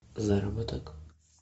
заработок